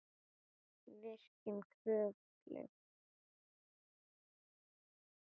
Virkjun Kröflu